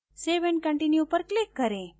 save and continue पर click करें